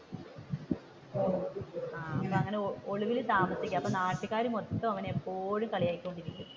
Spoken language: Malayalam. അങ്ങനെ ഒളിവിൽ താമസിക്കുകയാണ് അപ്പൊ നാട്ടുകാർ മൊത്തം അവനെ ഇപ്പോഴും കളിയാക്കി കൊണ്ടിരിക്കും.